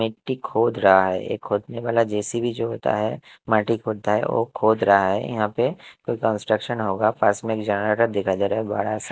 एक व्यक्ती खोद रहा है एक खोदने वाला जे_सी_बी जो होता है माटी खोदता है वो खोद रहा है यहां पे कोई कंस्ट्रक्शन होगा पास में एक जनरेटर दिखाई दे रहा है बड़ा सा।